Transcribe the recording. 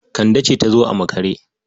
It was Kande that come late.